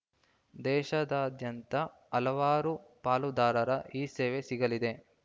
ದೇಶದಾದ್ಯಂತ ಹಲವಾರು ಪಾಲುದಾರರ ಈ ಸೇವೆ ಸಿಗಲಿದೆ